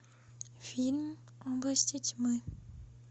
фильм области тьмы